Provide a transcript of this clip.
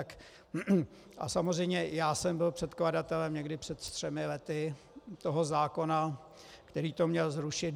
A samozřejmě já jsem byl předkladatelem někdy před třemi lety toho zákona, který to měl zrušit.